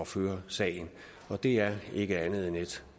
føre sagen og det er ikke andet end et